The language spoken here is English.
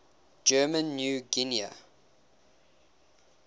german new guinea